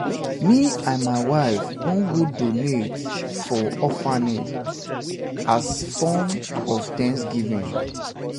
um me and my wife um wan go donate for orphanage as form um as form um of thanksgiving